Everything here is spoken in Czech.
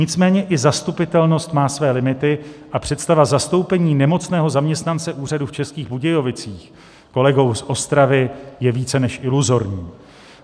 Nicméně i zastupitelnost má své limity a představa zastoupení nemocného zaměstnance úřadu v Českých Budějovicích kolegou z Ostravy je více než iluzorní.